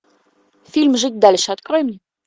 фильм жить дальше открой мне